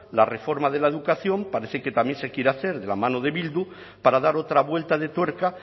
la reforma de la educación parece que también se quiere hacer de la mano de bildu para dar otra vuelta de tuerca